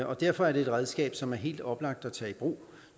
og derfor er det et redskab som det er helt oplagt at tage i brug